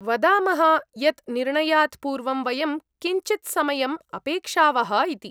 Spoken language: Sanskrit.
वदामः यत् निर्णयात् पूर्वं वयं किञ्चित्समयम् अपेक्षावः इति।